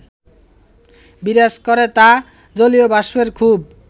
বিরাজ করে, তা জলীয়বাষ্পের খুব